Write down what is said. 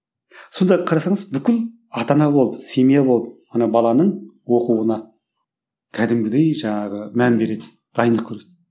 сонда қарасаңыз бүкіл ата ана болып семья болып ана баланың оқуына кәдімгідей жаңағы мән береді дайындық қөреді